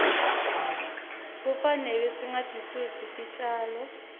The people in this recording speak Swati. kufanele singatisusi titjalo